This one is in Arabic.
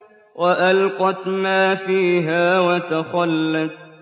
وَأَلْقَتْ مَا فِيهَا وَتَخَلَّتْ